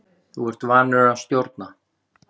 Þú ert vanur að stjórna.